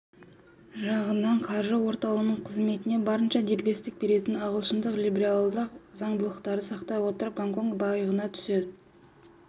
жағынан қаржы орталығының қызметіне барынша дербестік беретін ағылшындық либералдық заңдылықтарды сақтай отырып гонконг байыған үстіне